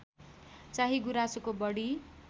चाहिँ गुराँसको बढी